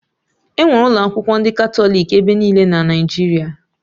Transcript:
Enwere ụlọ akwụkwọ ndị Katọlik ebe niile na Naijiria